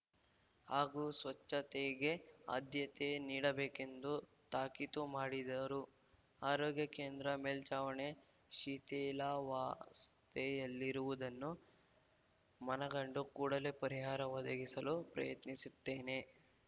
ಹಾಗೂ ಸ್ವಚ್ಚತೆಗೆ ಆದ್ಯತೆ ನೀಡಬೇಕೆಂದು ತಾಕೀತು ಮಾಡಿದರು ಆರೋಗ್ಯ ಕೇಂದ್ರ ಮೇಲ್ಚಾವಣೆ ಶಿಥಿಲಾವಸ್ತೆಯಲ್ಲಿರುವುದನ್ನು ಮನಗಂಡು ಕೂಡಲೇ ಪರಿಹಾರ ಒದಗಿಸಲು ಪ್ರಯತ್ನಿಸುತ್ತೇನೆ